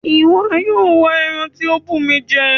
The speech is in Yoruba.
Iwọ yóò wá èèrà ti o bù mí jẹ!